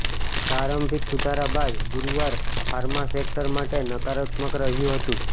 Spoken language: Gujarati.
પ્રારંભિક સુધારા બાદ ગુરુવાર ફાર્મા સેક્ટર માટે નકારાત્મક રહ્યું રહ્યું હતું